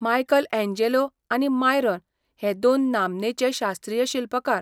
Michelangelo आनी Myron हे दोन नामनेचे शास्त्रीय शिल्पकार.